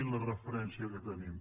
i la referència que tenim